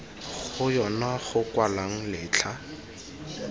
go yona go kwalwang letlha